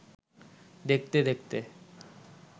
দেখতে-দেখতে